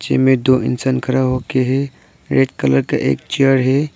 इसमें दो इंसान खड़ा होके है रेड कलर का एक चेयर है।